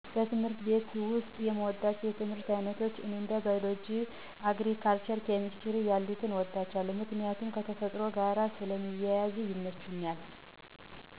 በትምህርት ቤት ውስጥ የምወዳቸው የትምህርት አይነቶች እንደ ባዮሎጂ፣ አግሪካልቸር፣ ኬምስትሪ ያሉትን እወዳቸዋለሁ ምክንያቱም ከተፈጥሮ ጋር ስለሚያያዙ ይመቹኛል።